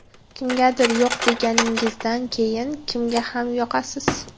Kimgadir yo‘q deganingizdan keyin kimga ham yoqasiz.